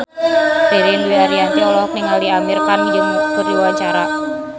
Ririn Dwi Ariyanti olohok ningali Amir Khan keur diwawancara